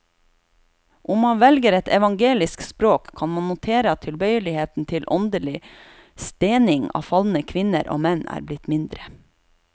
Om man velger et evangelisk språk, kan man notere at tilbøyeligheten til åndelig stening av falne kvinner og menn er blitt mindre.